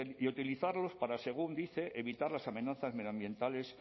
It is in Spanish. y utilizarlos para según dice evitar las amenazas medioambientales